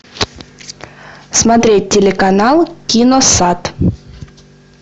смотреть телеканал киносат